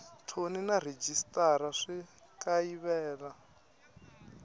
thoni na rhejisitara swi kayivela